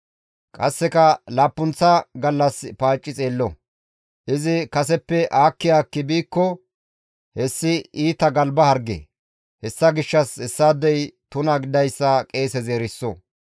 Qasseka laappunththa gallas paacci xeello; izi kaseppe aakki aakki biikko hessi iita galba harge; hessa gishshas hessaadey tuna gididayssa qeesezi iza eriso.